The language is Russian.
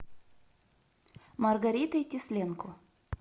маргаритой тесленко